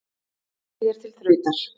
Leikið er til þrautar.